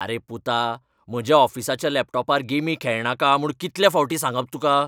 आरे पुता, म्हज्या ऑफिसाच्या लॅपटॉपार गेमी खेळनाका म्हूण कितलें फावटीं सांगप तुका?